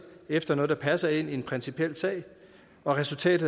efter noget der passer ind i en principiel sage og resultatet